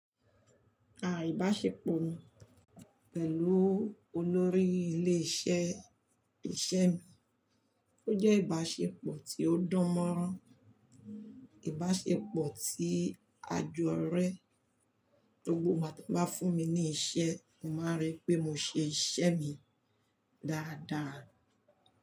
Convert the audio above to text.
Àìbáṣepọ̀ mi pẹ̀lú olórí ilé iṣẹ́ ìṣe mi ó jẹ́ ìbáṣepọ̀ tí ó dán mọ́rán, ìbáṣepọ̀ tí a jọ rẹ́. Gbogbo ìgbà tí wọ́n bá fún mi ní iṣẹ́, mo máa rí pé mo ṣe iṣẹ́ mi dáradára.